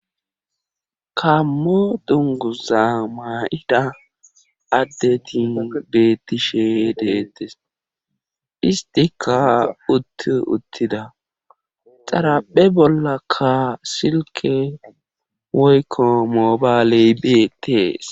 kammo dunguza maa7ida addetin bettishe deettes istika utt uttida xaraphe bollakka silke woykko moobaleybe tees